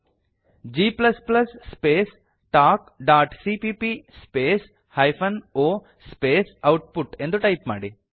g space talkಸಿಪಿಪಿ space hyphen o space output ಎಂದು type ಮಾಡಿ